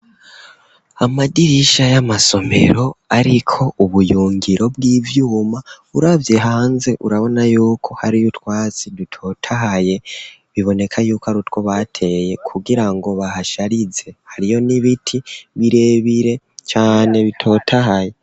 Amadirisha y'amasomero ariko ubuyungiro bw'ivyuma uravye hanze urabona yuko hariyo utwatsi dutotahaye biboneka yuko arutwo bateye kugira ngo bahasharize hariyo n'ibiti birebire cane bitotahaye.